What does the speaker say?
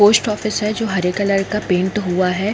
Post office जो हरे colour का पैंट हुआ है।